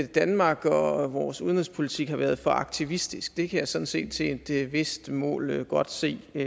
danmark og vores udenrigspolitik har været for aktivistisk det kan jeg sådan set til et vist mål godt se at